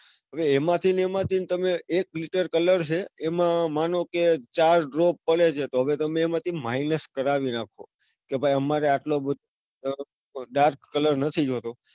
હવે એમાં થી ને એમાં થી તમે એક filter colour છે એમાં ધારોકે ચાર drop પડે છે તો હવે તમે એમાંથી minus કરાવી રાખો. કે ભાઈ અમારે એટલો બધો dark colour નથી જોવતો.